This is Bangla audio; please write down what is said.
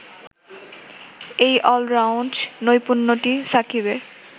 এই অলরাউন্ড নৈপুণ্যটি সাকিবের